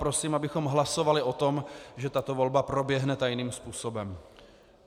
Prosím, abychom hlasovali o tom, že tato volba proběhne tajným způsobem.